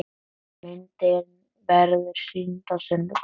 Myndin verður sýnd á sunnudaginn.